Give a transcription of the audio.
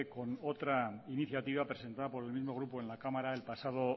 con otra iniciativa presentada por el mismo grupo en la cámara el pasado